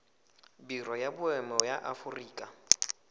biro ya boemo ya aforika